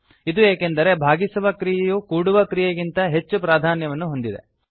ಇದು ಏಕೆಂದರೆ ಭಾಗಿಸುವ ಕ್ರಿಯೆಯು ಕೂಡುವ ಕ್ರಿಯೆಗಿಂತ ಹೆಚ್ಚು ಪ್ರಾಧಾನ್ಯತೆಯನ್ನು ಹೊಂದಿದೆ